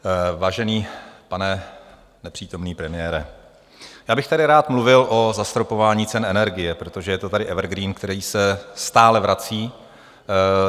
Vážený pane nepřítomný premiére, já bych tady rád mluvil o zastropování cen energie, protože je to tady evergreen, který se stále vrací.